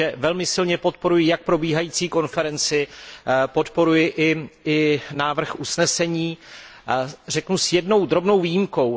Takže velmi silně podporuji jak probíhající konferenci, podporuji i návrh usnesení, řeknu s jednou drobnou výjimkou.